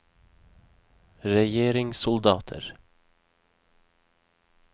regjeringssoldater